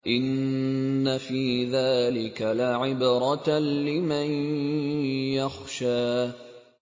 إِنَّ فِي ذَٰلِكَ لَعِبْرَةً لِّمَن يَخْشَىٰ